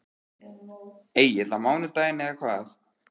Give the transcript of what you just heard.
Egill: Á mánudaginn eða hvað?